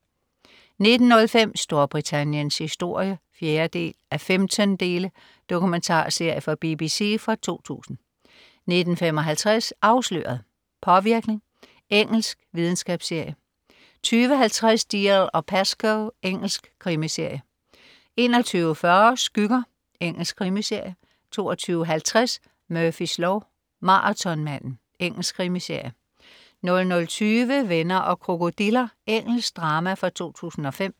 19.05 Storbritanniens historie 4:15. Dokumentarserie fra BBC fra 2000 19.55 Afsløret: Påvirkning. Engelsk videnskabsserie 20.50 Dalziel & Pascoe. Engelsk krimiserie 21.40 Skygger. Engelsk krimiserie 22.50 Murphys lov: Maratonmanden. Engelsk krimiserie 00.20 Venner og krokodiller. Engelsk drama fra 2005